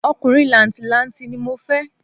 Ọkùnrin làǹtì-lanti ni mo fẹ́